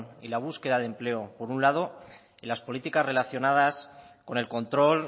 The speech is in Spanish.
y la búsqueda de empleo por un lado y las políticas relacionadas con el control